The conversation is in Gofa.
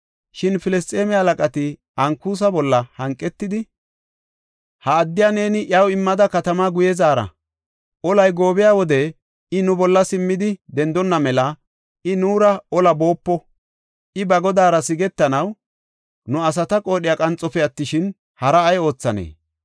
Shin Filisxeeme halaqati Ankusa bolla hanqetidi, “Ha addiya neeni iyaw immida katamaa guye zaara. Olay goobiya wode I nu bolla simmidi dendonna mela I nuura olaa boopo. I ba godaara sigetanaw nu asata qoodhiya qaanxofe attishin, haraa ay oothanee?